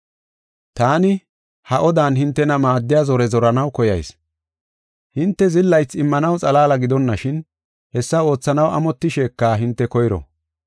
Taani ha odan hintena maaddiya zore zoranaw koyayis. Hinte zillaythi immanaw xalaala gidonashin, hessa oothanaw amotisheka hinte koyro.